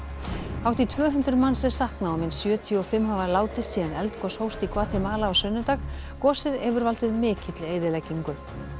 hátt í tvö hundruð manns er saknað og minnst sjötíu og fimm hafa látist síðan eldgos hófst í Gvatemala á sunnudag gosið hefur valdið mikilli eyðileggingu